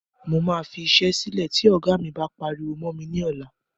Mo máa fi iṣẹ́ sílẹ́ tí ògá mí bá pariwo mọ́ mi ní ọlá.